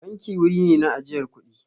Banki wuri ne na ajiyar kuɗi.